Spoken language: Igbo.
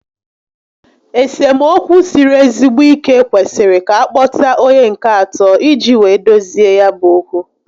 Esemokwu siri ezigbo ike kwesịrị ka a kpota onye nke atọ iji wee dozie ya bu okwu